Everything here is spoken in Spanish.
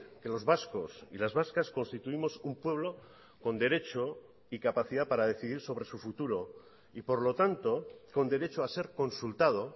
que los vascos y las vascas constituimos un pueblo con derecho y capacidad para decidir sobre su futuro y por lo tanto con derecho a ser consultado